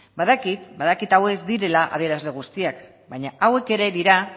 badakit hauek ez direla adierazle guztiak baina hauek ere dira